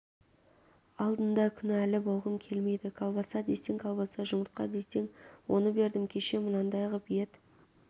алдында күнәлі болғым келмейді колбаса десең колбаса жұмыртқа десең оны бердім кеше мынандай ғып ет